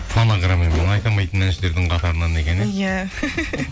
фонограммамен айта алмайтын әншілердің қатарынан екен иә